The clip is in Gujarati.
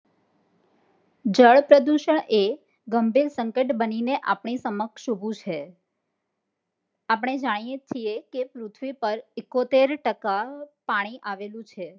જળ પ્રદુશણ એ ગંભીર સંકટ બનીને આપ ની સમક્ષ ઉભું છે. આપણે જાણીયે છીએ કે પૃથવી પર એકોતેર ટકા પાણી આવેલું છે